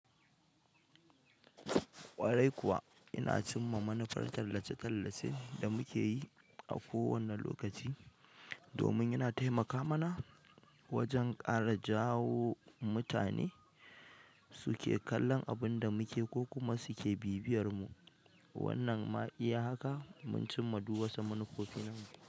Ƙwarai kuwa ina cimma manufar tallace-tallace da muke yi a kowane lokaci domin yana taimaka mana wajen ƙara jawo mutane suke kallon abun da muke ko kuma suke bibiyar mu. Wannan ma iya haka mun cimma duw wasu manufofi namu.